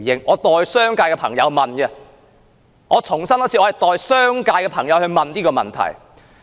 我代商界的朋友提出這個問題，我再重申，我代商界的朋友提出問題。